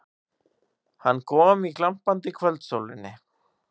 Hann kom í glampandi kvöldsólinni.